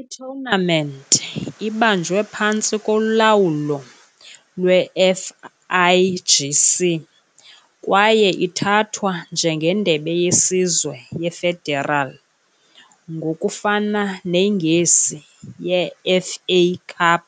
I-tournament ibanjwe phantsi kolawulo lwe-FIGC kwaye ithathwa njengendebe yesizwe ye-federal, ngokufana neNgesi ye-FA Cup,